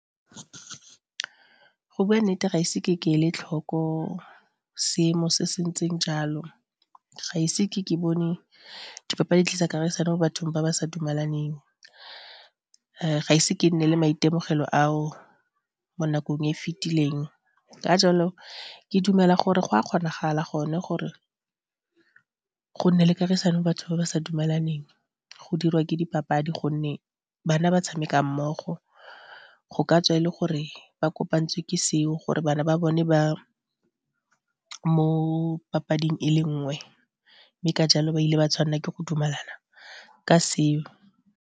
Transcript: Go bua nnete ga ise ke ke ele tlhoko seemo se se ntseng jalo, ga ise ke ke bone dipapadi tlisa kagisano mo bathong ba ba sa dumalaneng, ga ise ke nne le maitemogelo a o mo nakong e fitileng, ka jalo, ke dumela gore go a kgonagala gone gore go nne le kagisano batho ba ba sa dumelaneng go dirwa ke dipapadi gonne bana ba tshameka mmogo, go ka tswa e le gore ba kopantswe ke seo gore bana ba bone ba mo papading e le nngwe mme ka jalo ba ile ba tshwanela ke go dumalana ka seo.